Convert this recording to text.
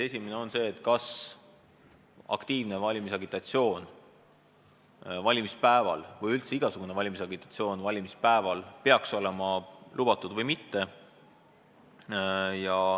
Esimene oli see, kas aktiivne valimisagitatsioon või mis tahes muu valimisagitatsioon peaks valimispäeval olema lubatud või mitte.